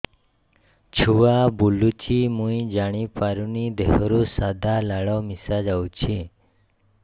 ଛୁଆ ବୁଲୁଚି ମୁଇ ଜାଣିପାରୁନି ଦେହରୁ ସାଧା ଲାଳ ମିଶା ଯାଉଚି